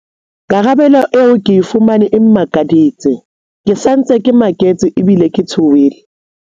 "Karabelo eo ke e fumaneng e mmakaditse. Ke sa ntse ke maketse ebile ke tshohile."